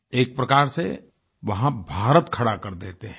एक प्रकार से वहां भारत खड़ा कर देते हैं